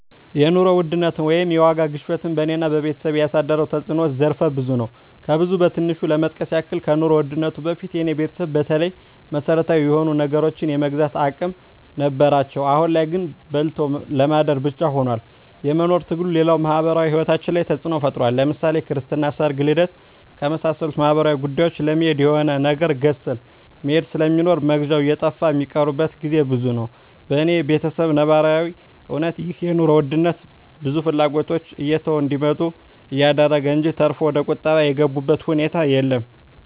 የኑሮ ውድነት ወይም የዋጋ ግሽበት በኔና በቤተሰቤ ያሳደረው ተጽኖ ዘርፈ ብዙ ነው። ከብዙ በትንሹ ለመጥቀስ ያክል ከኑሮ ውድነቱ በፊት የኔ ቤተሰብ በተለይ መሰረታዊ የሆኑ ነገሮችን የመግዛት አቅም ነበራቸው አሁን ላይ ግን በልቶ ለማደር ብቻ ሁኗል የመኖር ትግሉ፣ ሌላው ማህበራዊ ሂወታችን ላይ ተጽኖ ፈጥሯል ለምሳሌ ክርስትና፣ ሰርግና ልደት ከመሳሰሉት ማህበራዊ ጉዳዮች ለመሄድ የሆነ ነገር ገዝተህ መሄድ ስለሚኖር መግዣው እየጠፋ ሚቀሩበት ግዜ ብዙ ነው። በኔ በተሰብ ነባራዊ እውነታ ይህ የኑሮ ውድነት ብዙ ፍላጎቶችን እየተው እንዲመጡ አደረገ እንጅ ተርፎ ወደቁጠባ የገቡበት ሁኔታ የለም።